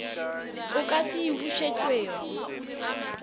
o ka se e bušetšwego